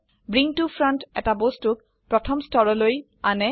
bring to front এটা বস্তুক প্ৰথম স্তৰলৈ আনে